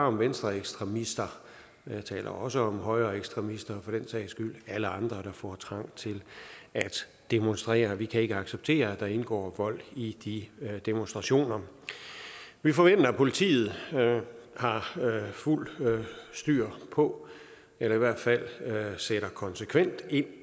om venstreekstremister jeg taler også om højreekstremister og for sags skyld alle andre der får trang til at demonstrere vi kan ikke acceptere at der indgår vold i de demonstrationer vi forventer at politiet har fuldt styr på eller i hvert fald sætter konsekvent ind